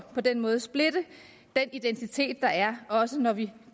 på den måde at splitte den identitet der er også når vi